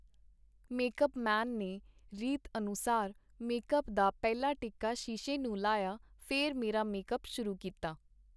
Make-up man ਨੇ, ਰੀਤ ਅਨੁਸਾਰ, ਮੇਕ-ਅੱਪ ਦਾ ਪਹਿਲਾ ਟਿੱਕਾ ਸ਼ੀਸ਼ੇ ਨੂੰ ਲਾਇਆ, ਫੇਰ ਮੇਰਾ ਮੇਕ-ਅੱਪ ਸ਼ੁਰੂ ਕੀਤਾ.